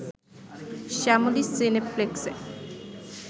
Shyamoli সিনেপ্লেক্সে